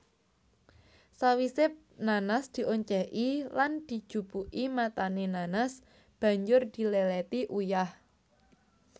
Sawise nanas dioncéki lan dijupuki matané nanas banjur diléléti uyah